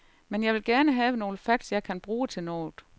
Men jeg vil gerne have nogle facts, jeg kan bruge til noget.